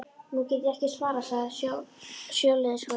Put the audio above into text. Nú get ég ekki svarað, sagði sjóliðsforinginn.